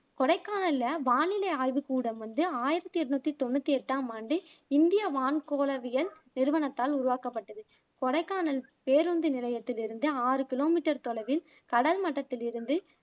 கொடைக்கானல்ல வானிலை ஆய்வுக்கூடம் வந்து ஆயிரத்தி எண்ணூத்தி தொண்ணூத்தி எட்டாம் ஆண்டு இந்திய வான்கோலவியல் நிறுவனத்தால் உருவாக்கப்பட்டது கொடைக்கானல் பேருந்து நிலையத்தில் இருந்து ஆறு கிலோமீட்டர் தொலைவில் கடல் மட்டத்தில் இருந்து